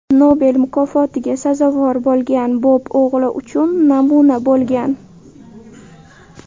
Nobel mukofotiga sazovor bo‘lgan Bob o‘g‘li uchun namuna bo‘lgan.